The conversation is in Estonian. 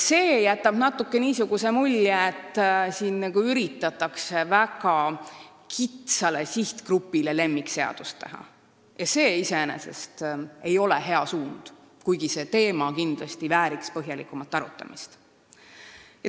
See jätab natuke niisuguse mulje, et siin üritatakse väga kitsale sihtgrupile lemmikseadust teha, mis iseenesest ei ole hea suund, kuigi see teema vääriks kindlasti põhjalikumat arutamist.